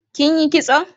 Kin yi kison?